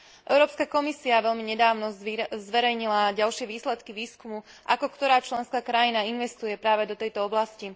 Európska komisia veľmi nedávno zverejnila ďalšie výsledky výskumu, ako ktorá členská krajina investuje práve do tejto oblasti.